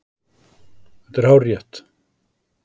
Þetta er hárrétt.